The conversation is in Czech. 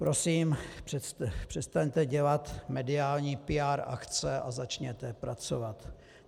Prosím, přestaňte dělat mediální PR akce a začněte pracovat.